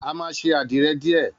A má sé àdíre dìé